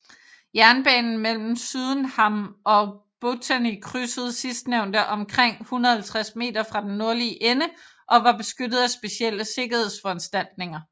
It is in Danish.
Jernbanen mellem Sydenham og Botany krydsede sidstnævnte omkring 150 meter fra den nordlige ende og var beskyttet af specielle sikkerhedsforanstaltninger